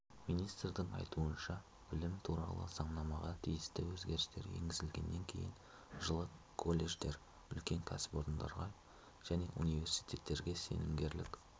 министрдің айтуынша білім туралы заңнамаға тиісті өзгерістер енгізілгеннен кейін жылы колледждер үлкен кәсіпорындарға және университеттерге сенімгерлік